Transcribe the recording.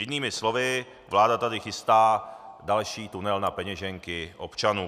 Jinými slovy, vláda tady chystá další tunel na peněženky občanů.